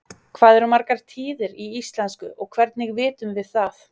hvað eru margar tíðir í íslensku og hvernig vitum við það